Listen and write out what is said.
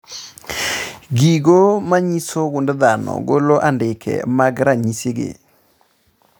Gigo manyiso gund dhano golo andike mag ranyisi gi